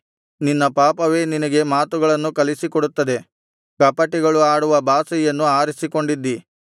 ನಿನ್ನ ಪಾಪವೇ ನಿನಗೆ ಮಾತುಗಳನ್ನು ಕಲಿಸಿಕೊಡುತ್ತದೆ ಕಪಟಿಗಳು ಆಡುವ ಭಾಷೆಯನ್ನು ಆರಿಸಿಕೊಂಡಿದ್ದಿ